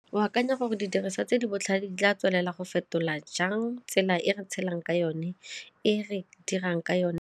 O akanya gore didiriswa tse di botlhale di tla tswelela go fetola jang tsela e re tshelang ka yone e re dirang ka yone?